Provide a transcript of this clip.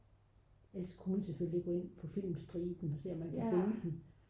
ellers kunne man selvfølgelig gå ind på filmstriben og se om man kunne finde den